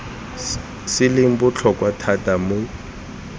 se leng botlhokwa thata mo